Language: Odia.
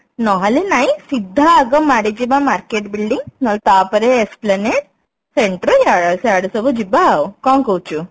ନହେଲେ ନାଇଁ ସିଧା ଆଗ ମାଡିଯିବା market building ନହେଲେ ତାପରେ esplanade Centro ଇ ସିଆଡେ ସବୁ ଯିବା ଆଉ କଣ କହୁଛୁ